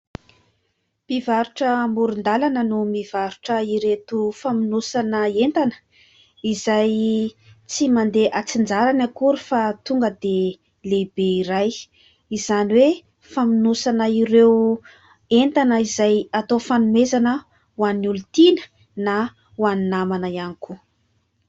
Mpivarotra amoron-dalana no mivarotra ireto famonosana entana ; izay tsy mandeha atsin-jarany akory fa tonga dia lehibe iray izany hoe famonosana ireo entana izay atao fanomezana ho an'ny olon-tiana na ho any namana ihany koa.